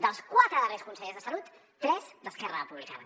dels quatre darrers consellers de salut tres d’esquerra republicana